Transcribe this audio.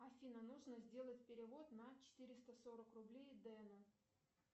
афина нужно сделать перевод на четыреста сорок рублей дену